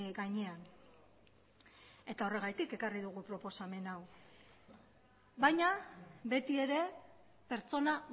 gainean eta horregatik ekarri dugu proposamen hau baina beti ere pertsona